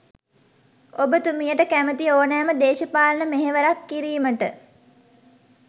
ඔබතුමියට කැමැති ඕනෑම දේශපාලන මෙහවරක් කිරීමට